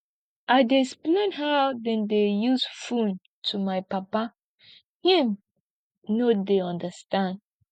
i dey explain how dem dey use fone to my papa him no dey understand